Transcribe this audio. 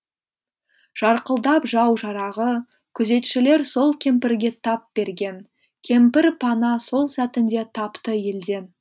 жарқылдап жау жарағы күзетшілер сол кемпірге тап берген кемпір пана сол сәтінде тапты елден